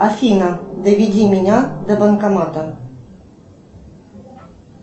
афина доведи меня до банкомата